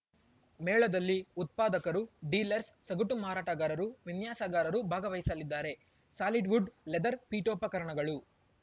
ಮೇಳದಲ್ಲಿ ಉತ್ಪಾದಕರು ಡೀಲರ್ಸ್ ಸಗಟು ಮಾರಾಟಗಾರರು ವಿನ್ಯಾಸಗಾರರು ಭಾಗವಹಿಸಲಿದ್ದಾರೆ ಸಾಲಿಡ್‌ವುಡ್‌ ಲೆದರ್‌ ಪೀಠೋಪಕರಣಗಳು